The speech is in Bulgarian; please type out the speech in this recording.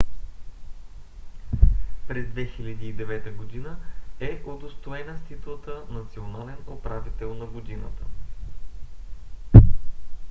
през 2009 г. е удостоена с титлата национален управител на годината